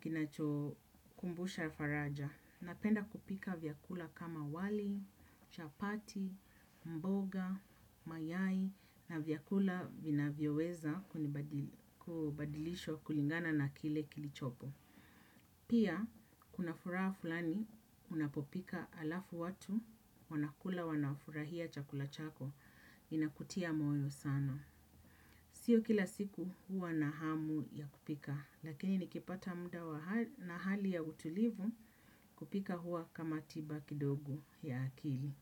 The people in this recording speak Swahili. kinacho kumbusha faraja. Napenda kupika vyakula kama wali, chapati, mboga, mayai na vyakula vinavyoweza kubadilisho kulingana na kile kilichopo. Pia, kuna furaha fulani unapopika alafu watu wanakula wanafurahia chakula chako inakutia moyo sana. Sio kila siku huwa na hamu ya kupika, lakini nikipata muda na hali ya utulivu kupika huwa kama tiba kidogo ya akili.